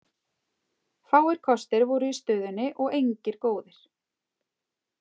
Fáir kostir voru í stöðunni og engir góðir.